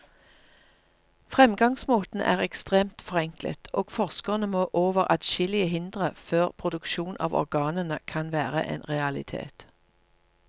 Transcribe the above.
Fremgangsmåten er ekstremt forenklet, og forskerne må over adskillige hindre før produksjon av organene kan være en realitet.